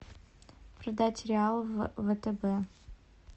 продать реал в втб